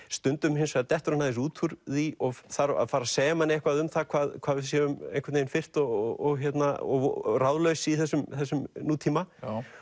stundum hins vegar dettur hann aðeins út úr því og þarf að fara að segja manni eitthvað um það hvað hvað við séum einhvern veginn firrt og og ráðlaus í þessum þessum nútíma